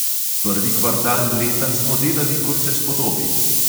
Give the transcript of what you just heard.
Prvi kvartal leta smo delali, kot se spodobi!